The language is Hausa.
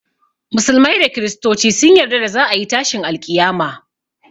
Musulmai da kristoci sun yarda za a yi tashin alƙiyama